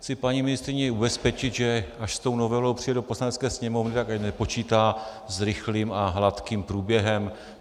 Chci paní ministryni ubezpečit, že až s tou novelou přijde do Poslanecké sněmovny, tak ať nepočítá s rychlým a hladkým průběhem.